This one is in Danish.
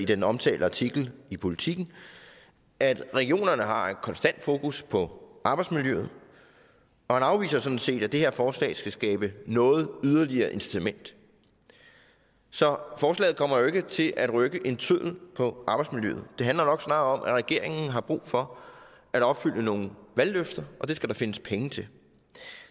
den omtalte artikel i politiken at regionerne har et konstant fokus på arbejdsmiljøet og han afviser sådan set at det her forslag skal skabe noget yderligere incitament så forslaget kommer jo ikke til at rykke en tøddel på arbejdsmiljøet det handler nok snarere om at regeringen har brug for at opfylde nogle valgløfter og det skal der findes penge til